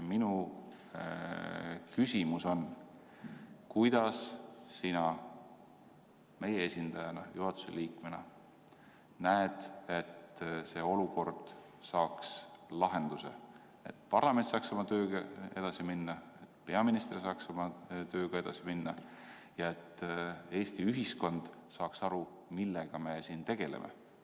Minu küsimus on: kuidas sina meie esindajana ja juhatuse liikmena näed, et see olukord saaks lahenduse, nii et parlament saaks oma tööga edasi minna, peaminister saaks oma tööga edasi minna ja Eesti ühiskond saaks aru, millega me siin tegeleme?